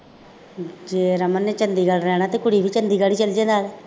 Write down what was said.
ਜੇ ਰਮਨ ਨੇ ਚੰਡੀਗੜ੍ਹ ਰਹਿਣਾ ਤਾਂ ਕੁੜੀ ਵੀ ਚੰਡੀਗੜ੍ਹ ਹੀ ਚੱਲ ਜਾਏ ਨਾਲ